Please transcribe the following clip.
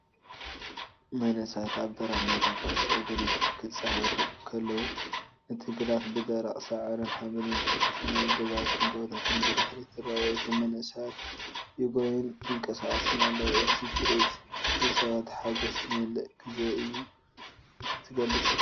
መንእሰያት ኣብ ደረቕ ሜዳ ኩዕሶ እግሪ ክጻወቱ ከለዉ። እቲ ግራት ብደረቕ ሳዕርን ሓመድን ዝተሸፈነ እዩ። ገዛውትን ጎቦታትን ብድሕሪት ይረኣዩ። እቶም መንእሰያት ይጎዩን ይንቀሳቐሱን ኣለዉ። እቲ ትርኢት ብጸወታን ሓጐስን ዝመልአ ግዜ እዩ ዚገልጽ።